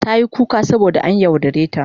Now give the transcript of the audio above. Tayi kuka saboda an yaudare ta.